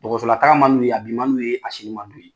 Dɔgɔsola taa man d'u ye. A bi man d'u ye, a sini man d'u ye.